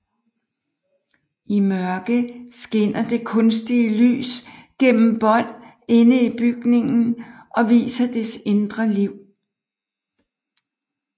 I mørke skinner det kunstige lys gennem bånd inde i bygningen og viser dets indre liv